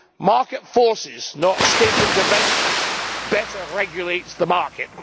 Market forces, not state intervention, better regulate the market.